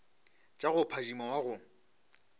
tša go phadima wa go